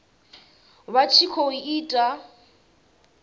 vha tshi khou i ita